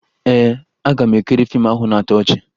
Ee, aga m ekiri fiimu ahụ na-atọ ọchị